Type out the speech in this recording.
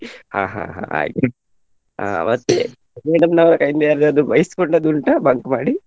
ಹಾ ಹಾ ಹಾ ಆಯ್ತು ಅಹ್ ಮತ್ತೆ ಬೈಸ್ಕೊಂಡದ್ದು ಉಂಟಾ bunk ಮಾಡಿ.